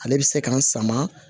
Ale bɛ se k'an sama